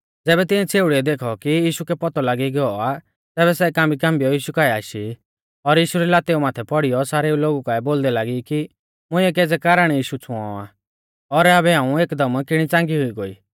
ज़ैबै तिऐं छ़ेउड़ीऐ देखौ कि यीशु कै पौतौ लागी गौ आ तैबै सै कांबीकांबीऔ यीशु काऐ आशी और यीशु री लातेऊ माथै पौड़ीयौ सारेऊ लोगु काऐ बोलदै लागी कि मुंइऐ केज़ै कारण यीशु छ़ुंऔ आ और आबै हाऊं एकदम किणी च़ांगी हुई गोई